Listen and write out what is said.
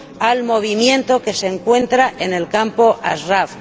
al movimiento que se encuentra en el campo de Ashraf.